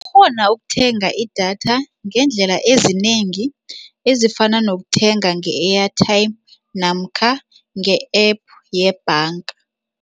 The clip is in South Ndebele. Ukuthenga idatha ngeendlela ezinengi ezifana nokuthenga nge-airtime namkha nge-App yebhanga.